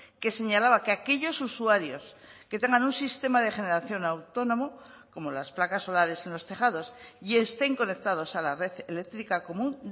que señalaba que aquellos usuarios que tengan un sistema de generación autónomo como las placas solares en los tejados y estén conectados a la red eléctrica común